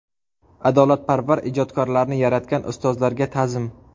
Adolatparvar ijodkorlarni yaratgan ustozlarga ta’zim.